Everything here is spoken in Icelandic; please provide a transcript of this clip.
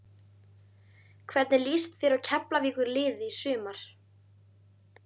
Hvernig lýst þér á Keflavíkurliðið í sumar?